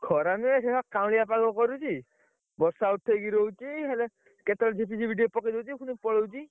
ଖରା ନୁହେ ସେଇ ଭଳିଆ କାଉଁଳିଆ ପାଗ କରୁଛି ବର୍ଷା ଉଠେଇକି ରହୁଛି ହେଲେ କେତେବେଳେ ଝିପି ଝିପି ଟିକେ ପକେଇ ଦଉଛି ପୁଣି ପଳଉଛି